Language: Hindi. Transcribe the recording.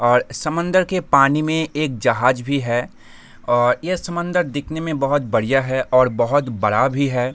और समंदर के पानी में एक जाहज भी है और ये समंदर दिखने में बहुत ही बड़ियाँ है और बहुत बड़ा भी है।